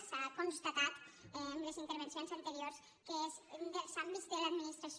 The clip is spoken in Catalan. s’ha constatat amb les intervencions anteriors que és un dels àmbits de l’administració